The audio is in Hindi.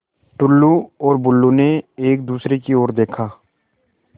टुल्लु और बुल्लु ने एक दूसरे की ओर देखा